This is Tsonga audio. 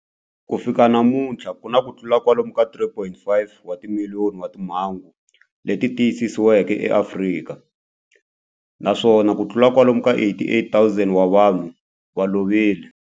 Ku fika namuntlha ku na kutlula kwalomu ka 3.5 wa timiliyoni wa timhangu leti tiyisisiweke eAfrika, naswona kutlula kwalomu ka 88,000 wa vanhu va lovile.